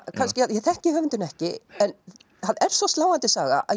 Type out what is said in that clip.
ég þekki höfundinn ekki en það er svo sláandi saga að